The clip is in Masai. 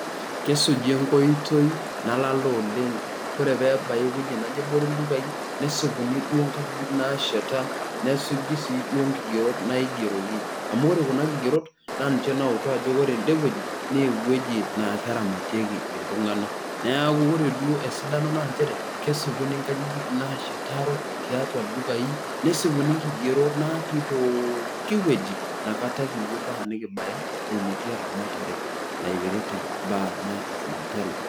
Kesuji enkoitoi nalala oleng ore pebai ewuei naji ebore ltupai nesipuni duo nkajijik nasheta nesuji si duo nkigerot naigeroki amu ore kuna kigerot na ninche nautu ajo ore endewueji na ewueji na keramatieki ltunganak neaku ore duo na nchere kesipini nkajijik nashetieki tiatua ldukai nesipuni nkigerot natiipokki wueji nakata kipuo ambaka nikibaya enetii eramatare naipirta mbaa natii sipitali.